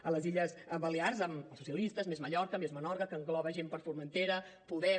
a les illes balears amb socialistes més mallorca més menorca que engloba gent per formentera podem